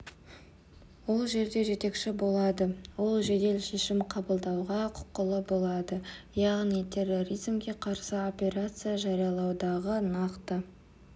ол жерде жетекші болады ол жедел шешім қабылдауға құқылы болады яғни терроризмге қарсы операция жариялаудағы нақты